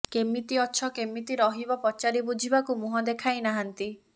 କେମିତି ଅଛ କେମିତି ରହିବ ପଚାରି ବୁଝିବାକୁ ମୁହଁ ଦେଖାଇନାହାନ୍ତି